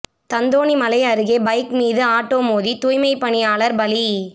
தாந்தோணிமலை அருகே பைக் மீது ஆட்டோ மோதி தூய்மை பணியாளர் பலி